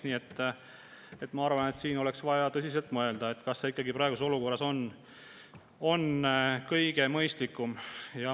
Nii et ma arvan, et meil oleks vaja tõsiselt mõelda, kas see on ikka praeguses olukorras kõige mõistlikum.